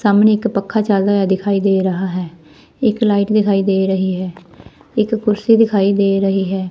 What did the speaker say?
ਸਾਹਮਣੇ ਇੱਕ ਪੱਖਾ ਚੱਲਦਾ ਹੋਇਆ ਦਿਖਾਈ ਦੇ ਰਹਾ ਹੈ ਇੱਕ ਲਾਈਟ ਦਿਖਾਈ ਦੇ ਰਹੀ ਹੈ ਇੱਕ ਕੁਰਸੀ ਦਿਖਾਈ ਦੇ ਰਹੀ ਹੈ।